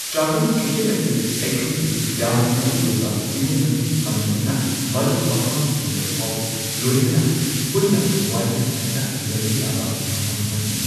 ꯆꯥꯛꯈꯨꯝ ꯀꯤꯠꯆꯟ ꯑꯁꯤ ꯑꯩꯈꯣꯏꯒꯤ ꯌꯥꯝꯅ ꯃꯔꯨ ꯑꯣꯏꯕ ꯏꯃꯨꯡ ꯃꯅꯨꯡ ꯐꯝꯃꯤꯟꯅꯗꯨꯅ ꯃꯔꯨꯞ ꯃꯄꯥꯡꯁꯤꯡꯒꯐꯥꯎ ꯂꯣꯏꯅꯅ ꯄꯨꯟꯅ ꯋꯥꯔꯤ ꯁꯥꯅꯗꯨꯅ ꯂꯩꯕ ꯌꯥꯕ ꯃꯐꯝ ꯑꯃꯅꯤ꯫